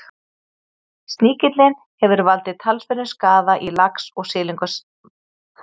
sníkillinn hefur valdið talsverðum skaða í lax og silungseldi víða um heim